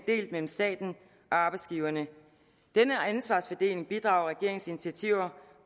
delt mellem staten og arbejdsgiverne denne ansvarsfordeling bidrager regeringens initiativer